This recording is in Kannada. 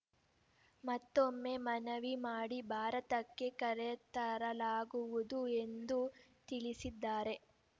ಮತ್ತೊಮ್ಮೆ ಮನವಿ ಮಾಡಿ ಭಾರತಕ್ಕೆ ಕರೆತರಲಾಗುವುದು ಎಂದು ತಿಳಿಸಿದ್ದಾರೆ